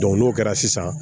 n'o kɛra sisan